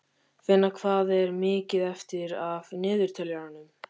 Finna, hvað er mikið eftir af niðurteljaranum?